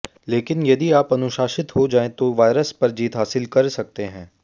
लेकिन यदि आप अनुशासित हो जाएं तो वायरस पर जीत हासिल कर सकते हैं